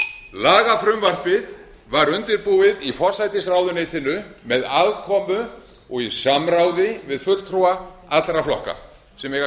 lagafrumvarpið var undirbúið í forsætisráðuneytinu með aðkomu og í samráði við fulltrúa allra flokka sem eiga